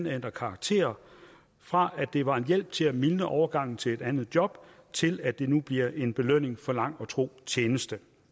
ændrer karakter fra at det var hjælp til at mildne overgangen til et andet job til at det nu bliver en belønning for lang og tro tjeneste